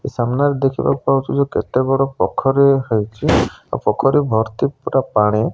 ସାମ୍ନାରେ ଦେଖିବାକୁ ପାଉଚୁ ଯେ କେତେକ ପୋଖରୀ ହେଇଚି ଆଉ ପୋଖରୀ ଭର୍ତ୍ତି ପୁରା ପାଣି।